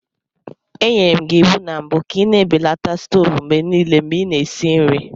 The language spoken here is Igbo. Enyere m gị iwu na mbụ ka ị na-ebelata stovu mgbe niile mgbe ị na-esi nri.